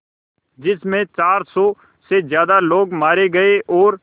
जिस में चार सौ से ज़्यादा लोग मारे गए और